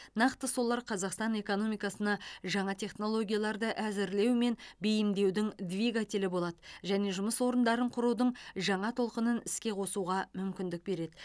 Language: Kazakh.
нақты солар қазақстан экономикасына жаңа технологияларды әзірлеу мен бейімдеудің двигателі болады және жұмыс орныдарын құрудың жаңа толқынын іске қосуға мүмкіндік береді